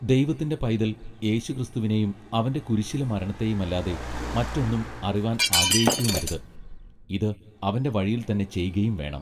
ദൈവത്തിന്റെ പൈതൽ യേശുക്രിസ്തുവിനെയും അവന്റെ കുരിശിലെ മരണത്തെയും അല്ലാതെ മറ്റൊന്നും അറിവാൻ ആഗ്രഹിക്കയുമരുത്, ഇത് അവന്റെ വഴിയിൽ തന്നെ ചെയ്കയും വേണം.